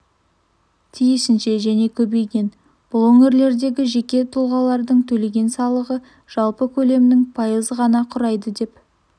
тиісінше және көбейген бұл өңірлердегі жеке тұлғалардың төлеген салығы жалпы көлемнің пайызын ғана құрайды деп